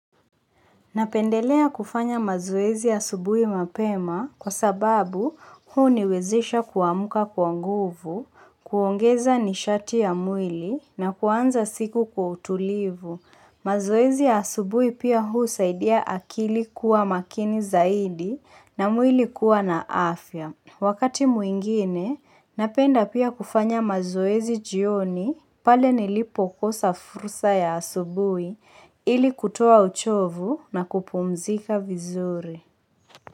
Napendelea kufanya mazoezi asubuhi mapema kwa sababu huniwezesha kuamka kwa nguvu, kuongeza nishati ya mwili na kuanza siku kwa utulivu. Mazoezi ya asubuhi pia husaidia akili kuwa makini zaidi na mwili kuwa na afya. Wakati mwingine, napenda pia kufanya mazoezi jioni pale nilipokosa fursa ya asubuhi ili kutoa uchovu na kupumzika vizuri.